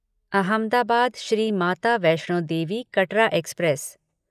Ahmedabad Shri Mata Vaishno Devi Katra express